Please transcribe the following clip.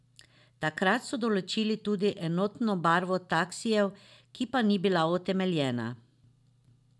Takrat so določili tudi enotno barvo taksijev, ki pa ni bila utemeljena.